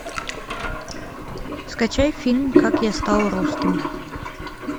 скачай фильм как я стал русским